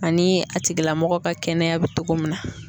Ani a tigilamɔgɔ ka kɛnɛya bɛ cogo min na.